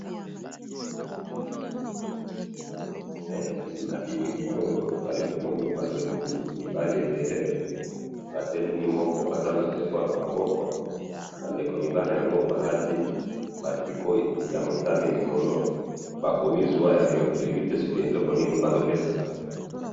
na moni bilenge ya mibali mitano balati ba mipila ya motane na moko azui telephone.